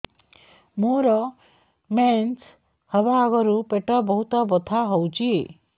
ମୋର ମେନ୍ସେସ ହବା ଆଗରୁ ପେଟ ବହୁତ ବଥା ହଉଚି